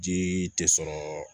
Jii tɛ sɔrɔ